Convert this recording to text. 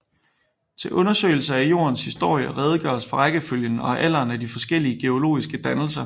Til undersøgelse af Jordens historie redegøres for rækkefølgen og alderen af de forskellige geologiske dannelser